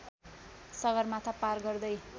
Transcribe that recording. सगरमाथा पार गर्दै